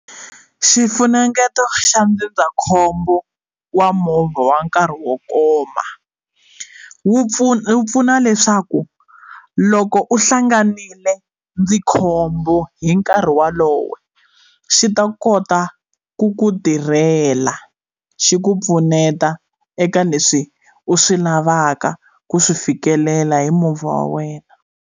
Xifunengeto xa ndzindzakhombo wa movha wa nkarhi wo koma wu pfuna wu pfuna leswaku loko u hlanganile ndzi khombo hi nkarhi wolowo xi ta kota ku ku tirhela xi ku pfuneta eka leswi u swi lavaka ku swi fikelela hi movha wa wena.